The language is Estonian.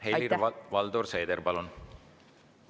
Helir-Valdor Seeder, palun!